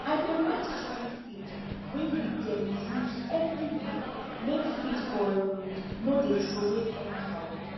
i dey write chicken feed wey we dem use everi week make feed for um no dey throway anyhow